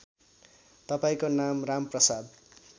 तपाईँको नाम रामप्रसाद